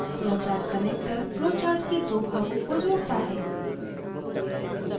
flowchartconnector flowchart के दो भागों को जोड़ता है